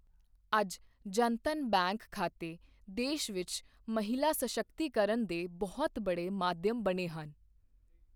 ਅੱਜ ਜਨਧਨ ਬੈਂਕ ਖਾਤੇ ਦੇਸ਼ ਵਿੱਚ ਮਹਿਲਾ ਸਸ਼ਕਤੀਕਰਣ ਦੇ ਬਹੁਤ ਬੜੇ ਮਾਧਿਅਮ ਬਣੇ ਹਨ।